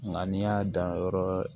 Nka n'i y'a dan yɔrɔ